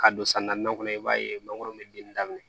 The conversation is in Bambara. Ka don san naaninan kɔnɔ i b'a ye mangoro bɛ den daminɛ